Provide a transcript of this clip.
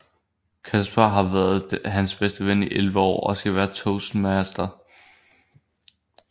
Casper har været hans bedste ven i 11 år og skal være toastmaster